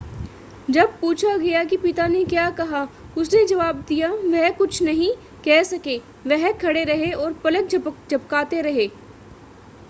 जब पूछा गया कि पिता ने क्या कहा उसने जवाब दिया वह कुछ नहीं कह सके वह खड़े रहे और पलक झपकाते रहे